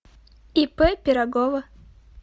ип пирогова